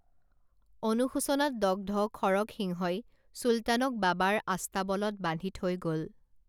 অনুশোচনাত দগ্ধ খৰগসিংহই চুলতানক বাবাৰ আস্তাবলত বান্ধি থৈ গল